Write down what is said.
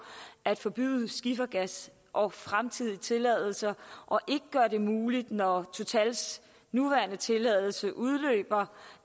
at forbyde skifergas og fremtidige tilladelser og ikke gøre det muligt når totals nuværende tilladelse udløber